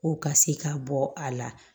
Ko ka se ka bɔ a la